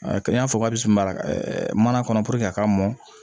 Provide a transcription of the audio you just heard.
A kɛ i n'a fɔ k'a bɛ samara mana kɔnɔ a ka mɔn